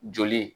Joli